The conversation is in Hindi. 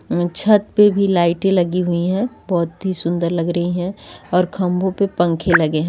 छत पे भी लाइटे लगी हुई है बहुत ही सुंदर लग रही है और खंभों पे पंखे लगे हैं।